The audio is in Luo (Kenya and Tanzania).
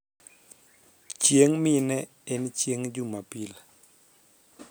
chieng mine en chieng jumapil